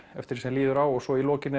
eftir því sem líður á og svo í lokin